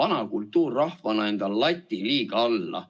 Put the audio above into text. vana kultuurrahvas, laseme oma lati liiga alla.